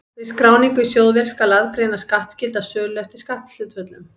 Við skráningu í sjóðvél skal aðgreina skattskylda sölu eftir skatthlutföllum.